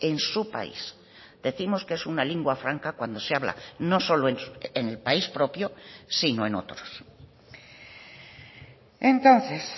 en su país decimos que es una lingua franca cuando se habla no solo en el país propio sino en otros entonces